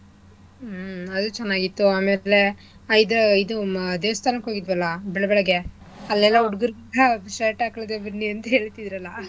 ಹ್ಮ್ ಅದೂ ಚೆನ್ನಾಗಿತ್ತು ಆಮೇಲೆ ಅದು ಇದು ಅದ್ ದೇವಸ್ಥಾನಕ್ ಹೋಗಿದ್ವಲ್ಲಾ ಬೆಳ್ಬೆಳಗೆ ಅಲ್ಲೆಲ್ಲ ಹುಡ್ಗ್ರು shirt ಹಾಕಳ್ದೆ ಬನ್ನಿ ಅಂತಿದ್ರಲ್ಲಾ